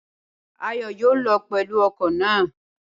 Ayọ̀ yóò lọ pẹ̀lú ọkọ̀ náà.